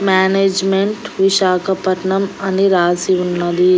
Management Visakhapatnam అని రాసి ఉన్నది.